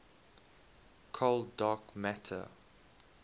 cold dark matter